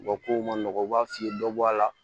U ka kow ma nɔgɔ u b'a f'i ye dɔ bɔ a la